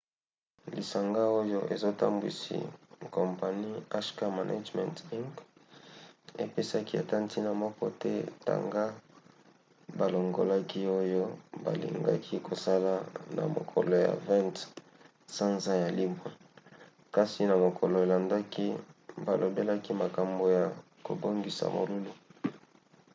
lisanga oyo ezotambwisi kompani hk management inc. epesaki ata ntina moko te tanga balongolaki oyo balingaki kosala na mokolo ya 20 sanza ya libwa kasi na mokolo elandaki balobelaki makambo ya kobongisa molulu